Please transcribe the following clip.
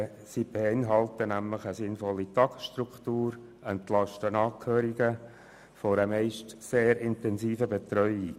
Die Tagesstätten bieten nämlich eine sinnvolle Tagesstruktur und entlasten Angehörige von einer meist sehr intensiven Betreuung.